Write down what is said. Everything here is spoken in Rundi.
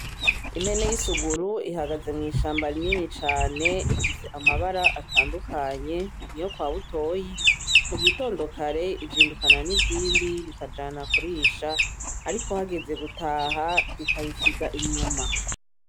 Impene y'isuguru ihagaye mw'ishamba rinini cane ifise amabara atandukanye niyo kwa butoyi mugitondo kare izindukana n'izindi bikajana kurisha ariko hageze gutaha zikayisiga inyuma.